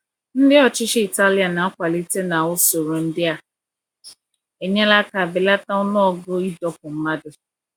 Ndị ọchịchị Italian na-akwalite na usoro ndị a enyela aka belata ọnụọgụ ịdọkpụ mmadụ.